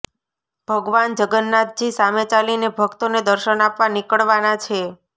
ભગવાન જગન્નાથજી સામે ચાલીને ભક્તોને દર્શન આપવા નીકળવાના છે